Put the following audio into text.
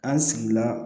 An sigila